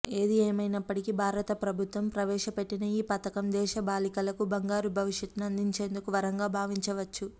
ఏది ఏమైనప్పటికీ భారత ప్రభుత్వం ప్రవేశపెట్టిన ఈ పథకం దేశ బాలికలకు బంగారు భవిష్యత్ను అందించేందుకు వరంగా భావించవచ్చు